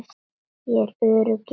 Ég er örugg í henni.